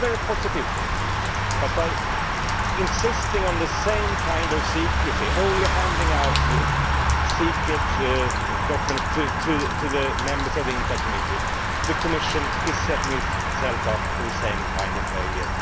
This is a very positive thing, but by insisting on the same kind of secrecy only handing out secret documents to the members of the INTA Committee the Commission is setting itself up for the same kind of failure.